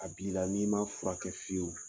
A bila n'i ma furakɛ fiyewu